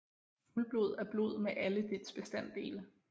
Fuldblod er blod med alle dets bestanddele